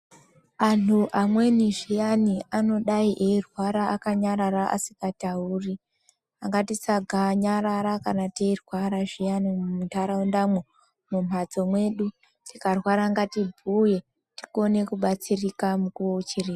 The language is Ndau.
Anhu amweni zviyani anodai eirwara akanyarara asikatauri. Ngatisaganyarara kana teirwara zviyani muntaraundamwo , mumhatso mwedu. Tikarwara ngatibhuye tione kubatsirika mukuwo uchiripo.